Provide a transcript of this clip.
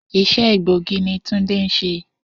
Isé̩ egbòogi ni Túndé ń s̩e